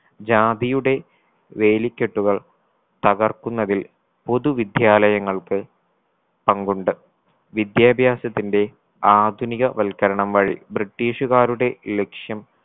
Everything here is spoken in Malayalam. ജാതിയുടെ വേലിക്കെട്ടുകൾ തകർക്കുന്നതിൽ പൊതു വിദ്യാലയങ്ങൾക്ക് പങ്കുണ്ട് വിദ്യാഭ്യാസത്തിന്റെ ആധുനിക വൽക്കരണം വഴി british കാരുടെ ലക്ഷ്യം